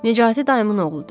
Nicatı dayımın oğludur.